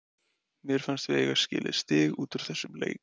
Mér fannst við eiga skilið stig út úr þessum leik.